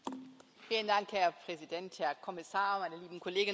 Herr Präsident, Herr Kommissar, meine lieben Kolleginnen und Kollegen!